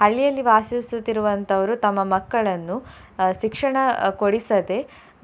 ಹಳ್ಳಿಯಲ್ಲಿ ವಾಸಿಸುತ್ತಿರುವಂತವರು ತಮ್ಮ ಮಕ್ಕಳನ್ನು ಅಹ್ ಶಿಕ್ಷಣ ಕೊಡಿಸದೆ